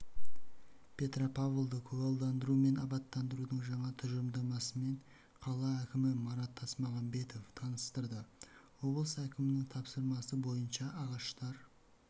петропавлды көгалдандыру мен абаттандырудың жаңа тұжырымдамасымен қала әкімі марат тасмағанбетов таныстырды облыс әкімінің тапсырмасы бойынша ағаштар